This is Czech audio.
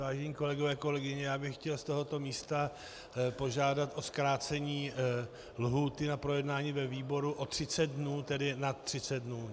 Vážení kolegové, kolegyně, já bych chtěl z tohoto místa požádat o zkrácení lhůty na projednání ve výboru o 30 dnů, tedy na 30 dnů.